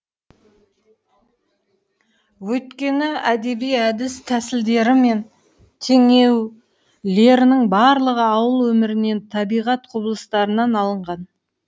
өйткені әдеби әдіс тәсілдері мен теңеулерінің барлығы ауыл өмірінен табиғат құбылыстарынан алынған